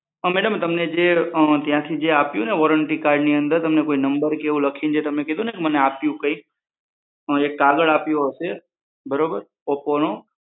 હા madam, તમને જે ત્યાંથી આપ્યું ને વોરંટી કાર્ડની અંદર તમને કોઈ નંબર કે લખીને એવું કઈ તમે કીધું ને કે મને કઈ આપ્યું એક કાગળ આપ્યો હશે બરાબર ઓપોનું